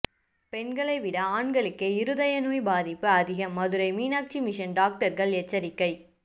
பெண்களை விட ஆண்களுக்கே இருதய நோய் பாதிப்பு அதிகம் மதுரை மீனாட்சி மிஷன் டாக்டர்கள் எச்சரிக்கை